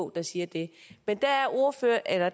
der siger det men